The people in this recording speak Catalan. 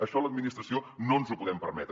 això a l’administració no ens ho podem permetre